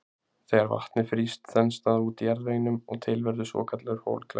þegar vatnið frýst þenst það út í jarðveginum og til verður svokallaður holklaki